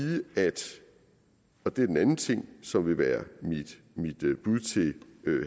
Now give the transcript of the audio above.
og det er den anden ting som vil være mit bud til